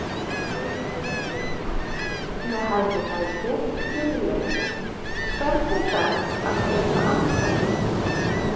Ég geri allt fyrst með hægri fæti fyrir leiki Hvernig er best að pirra andstæðinginn?